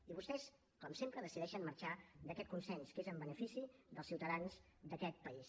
i vostès com sempre decideixen marxar d’aquest consens que és en benefici dels ciutadans d’aquest país